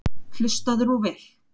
Hlustaðu nú vel.